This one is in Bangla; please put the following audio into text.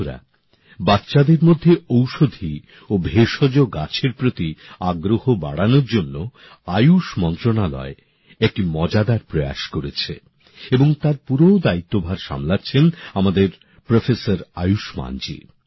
বন্ধুরা বাচ্চাদের মধ্যে ঔষধি ও ভেষজ গাছের প্রতি আগ্রহ বাড়ানোর জন্য আয়ুষ মন্ত্রণালয় একটি মজাদার উদ্যোগ নিয়েছে এবং তার পুরো দায়িত্বভার সামলাচ্ছেন আমাদের অধ্যাপক আয়ুষ্মানজী